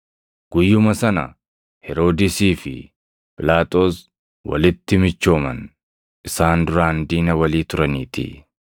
Guyyuma sana Heroodisii fi Phiilaaxoos walitti michooman; isaan duraan diina walii turaniitii.